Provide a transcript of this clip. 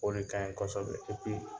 O de ka ɲi kosɛbɛ